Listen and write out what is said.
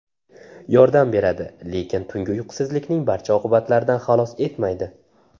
Yordam beradi, lekin tungi uyqusizlikning barcha oqibatlaridan xalos etmaydi .